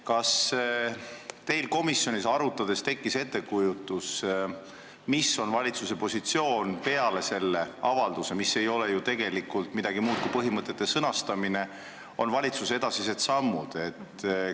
Kas teil komisjonis asja arutades tekkis ettekujutus, mis on valitsuse positsioon peale selle avalduse, mis ei ole ju tegelikult midagi muud kui põhimõtete sõnastamine, ja millised on valitsuse edasised sammud?